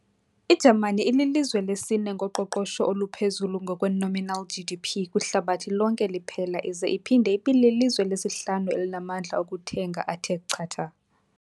I-Jamani ililizwe lesi-ne ngoqoqosho oluphezulu ngokwe-nominal GDP kwihlabathi lonke liphela ize iphinde ibelilizwe lesihlanu elinamandla okuthenga athe chatha.